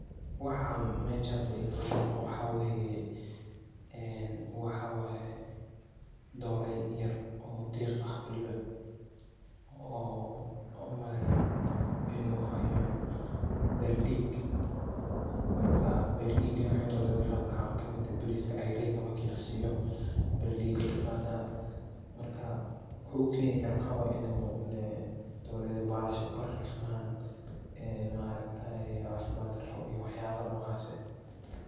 Waxaan mesha igala muuqdo waxaa weeye, waxaa waaye doreey yar oo diiq ah ,oo aan umaleyo inuu hayo baal dhiig ,markaa baal dhiigana waxeey doreyda ka qaado waxaa kamid eh bariska ceyrinka markii la siiyo ,baal dhhig ayeey ka qadaa ,markaa waxuu u keeni karo waxaa waaye ineey doreyda baalasha karifmaan, ma aragtaaye cafimaad daro iyo waxyaalo nocaas eh .